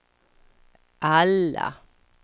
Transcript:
alla